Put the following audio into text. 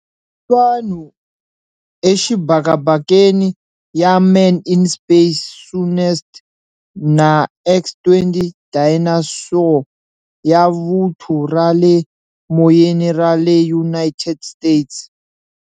Hi vanhu exibakabakeni ya Man in Space Soonest na X-20 Dyna-Soar ya Vuthu ra le Moyeni ra le United States.